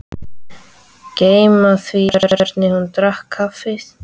Gleyma því hvernig hún drakk kaffið.